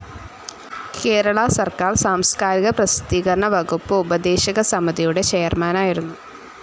കേരള സർക്കാർ സാംസ്കാരിക പ്രസിദ്ധീകരണ വകുപ്പ് ഉപദേശകസമിതിയുടെ ചെയർമാൻ ആയിരുന്നു.